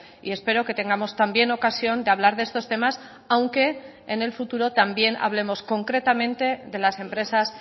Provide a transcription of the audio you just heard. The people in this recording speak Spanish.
y espero que tengamos también ocasión de hablar de estos temas aunque en el futuro también hablemos concretamente de las empresas